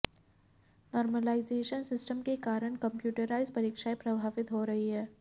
normalisation system के कारण computerised परीक्षाएं प्रभावित हो रहीं हैं